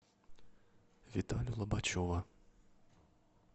виталю лобачева